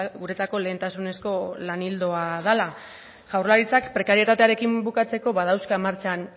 guretzako lehentasunezko lan ildoa dela jaurlaritzak prekarietatearekin bukatzeko badauzka martxan